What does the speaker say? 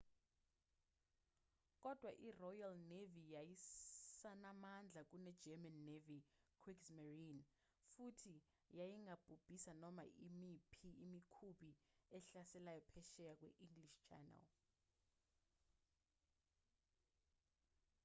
kodwa iroyal navy yayisanamandla kunegerman navy kriegsmarine futhi yayingabhubhisa noma imiphi imikhumbi ehlaselayo phesheya kwe-english channel